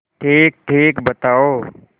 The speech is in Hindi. ठीकठीक बताओ